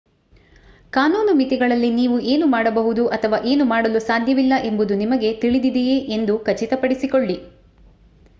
ಕಾನೂನು ಮಿತಿಗಳಲ್ಲಿ ನೀವು ಏನು ಮಾಡಬಹುದು ಅಥವಾ ಏನು ಮಾಡಲು ಸಾಧ್ಯವಿಲ್ಲ ಎಂಬುದು ನಿಮಗೆ ತಿಳಿದಿದೆಯೆ ಎಂದು ಖಚಿತಪಡಿಸಿಕೊಳ್ಳಿ